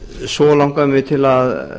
svo langar mig til að